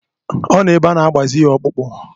Ọ nọ ebe ana-agbazi ya ọkpụkpụ.